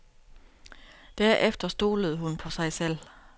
Derefter stolede hun på sig selv.